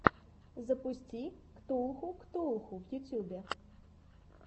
запусти ктулху ктулху в ютьюбе